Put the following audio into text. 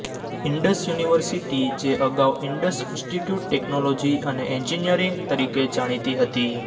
Indus university જે અગાઉ Indus institute technology અને એન્જિનિયરિંગ તરીકે જાણીતી હતી